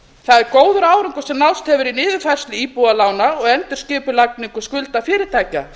það er góður árangur sem náðst hefur í niðurfærslu íbúðalána og endurskipulagningu skulda fyrirtækja